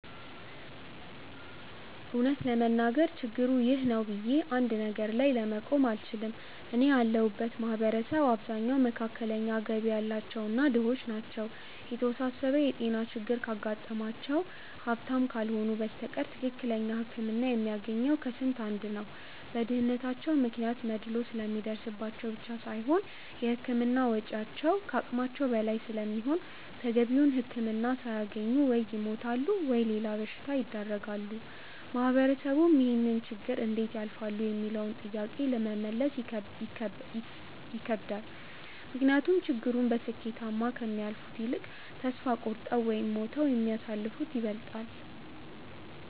እውነት ለመናገር ችግሩ 'ይህ ነው' ብዬ አንድ ነገር ላይ መጠቆም አልችልም። እኔ ያለሁበት ማህበረሰብ አብዛኛው መካከለኛ ገቢ ያላቸው እና ድሆች ናቸው። የተወሳሰበ የጤና ችግር ካጋጠማቸው ሀብታም ካልሆኑ በስተቀር ትክክለኛ ህክምና የሚያገኘው ከስንት አንድ ነው። በድህነታቸው ምክንያት መድሎ ስለሚደርስባቸው ብቻ ሳይሆን የህክምና ወጪው ከአቅማቸው በላይ ስለሚሆን ተገቢውን ህክምና ሳያገኙ ወይ ይሞታሉ ወይም ለሌላ በሽታ ይዳረጋሉ። ማህበረሰቡም ይህንን ችግር እንዴት ያልፋሉ ሚለውንም ጥያቄ ለመመለስ ይከብዳል። ምክንያቱም ችግሩን በስኬታማ ከሚያልፉት ይልቅ ተስፋ ቆርጠው ወይም ሞተው የሚያልፉት ይበልጣሉ።